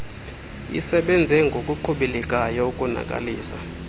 isebenze ngokuqhubelekayo ukonakalisa